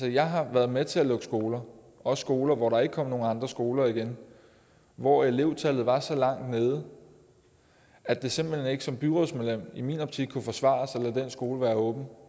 jeg har været med til at lukke skoler også skoler hvor der ikke kom nogen andre skoler igen hvor elevtallet var så langt nede at det simpelt hen ikke som byrådsmedlem i min optik kunne forsvares at lade den skole være åben